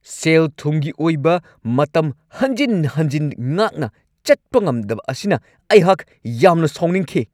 ꯁꯦꯜ-ꯊꯨꯝꯒꯤ ꯑꯣꯏꯕ ꯃꯇꯝ ꯍꯟꯖꯤꯟ ꯍꯟꯖꯤꯟ ꯉꯥꯛꯅ ꯆꯠꯄ ꯉꯝꯗꯕ ꯑꯁꯤꯅ ꯑꯩꯍꯥꯛ ꯌꯥꯝꯅ ꯁꯥꯎꯅꯤꯡꯈꯤ꯫​